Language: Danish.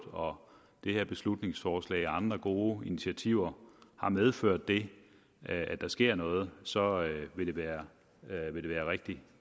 og det her beslutningsforslag og de andre gode initiativer har medført det at der sker noget så vil det være rigtig